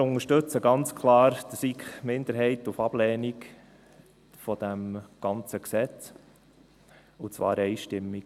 Wir unterstützten ganz klar die SiK-Minderheit auf Ablehnung dieses ganzen Gesetzes – und zwar einstimmig.